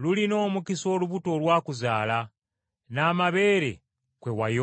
“Lulina omukisa olubuto olwakuzaala, n’amabeere kwe wayonka!”